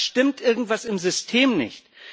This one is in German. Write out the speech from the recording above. Da stimmt irgendwas im System nicht.